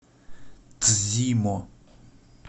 цзимо